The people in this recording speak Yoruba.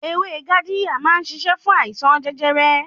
Ewé Yaadiya má ń ṣiṣẹ́ fún àìsàn jẹjẹrẹ.